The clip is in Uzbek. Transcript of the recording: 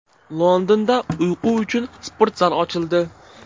Londonda uyqu uchun sportzal ochildi.